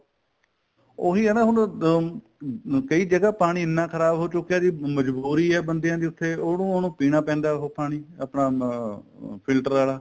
ਉਹੀ ਹੈ ਨਾ ਹੁਣ ਦ ਅਹ ਕਈ ਜਗ੍ਹਾ ਪਾਣੀ ਇੰਨਾ ਖਰਾਬ ਹੋ ਚੁਕਿਆ ਜੇ ਮਜਬੂਰੀ ਏ ਬੰਦੀਆਂ ਦੀ ਉੱਥੇ ਉਹਨੂੰ ਹੁਣ ਪੀਣਾ ਪੈਂਦਾ ਉਹ ਪਾਣੀ ਆਪਣਾ ਅਹ filter ਆਲਾ